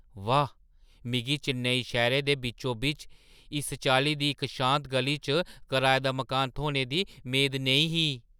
वाह्! मिगी चेन्नई शैह्‌रै दे बिच्चो-बिच्च इस चाल्ली दी इक शांत ग'ली च कराए दा मकान थ्होने दी मेद नेईं ही।